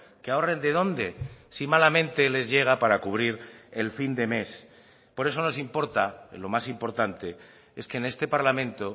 que ahorren de dónde si malamente les llega para cubrir el fin de mes por eso nos importa lo más importante es que en este parlamento